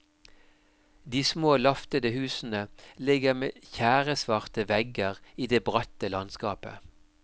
De små laftede husene ligger med tjæresvarte vegger i det bratte landskapet.